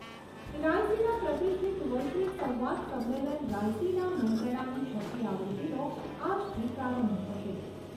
રાયસીના પ્રતિષ્ઠિત વૈશ્વિક સંવાદ સંમેલન રાયસીના મંત્રણાની છઠ્ઠી આવૃત્તિનો આજથી પ્રારંભ થશે.